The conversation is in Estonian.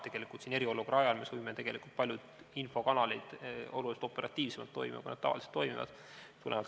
Tegelikult eriolukorra ajal me saime paljud infokanalid palju operatiivsemalt toimima, kui nad tavaliselt toimivad.